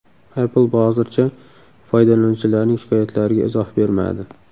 Apple hozircha foydalanuvchilarning shikoyatlariga izoh bermadi.